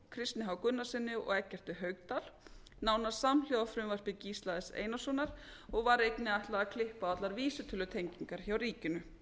kristni h gunnarssyni og eggerti haukdal nánast samhljóða frumvarpi gísla s einarssonar og var einnig ætlað að klippa á allar vísitölutengingar hjá ríkinu